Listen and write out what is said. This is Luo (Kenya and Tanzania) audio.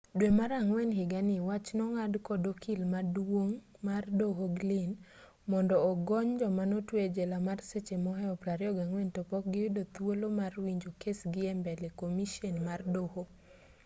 dwe mar ang'wen higani wach nong'ad kod okil maduong' mar doho glynn mondo ogony joma notwe ejela mar seche mohew 24 topok giyudo thuolo mar winjo kesgi embele komishen mar doho